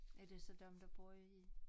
Er det så dem der bor i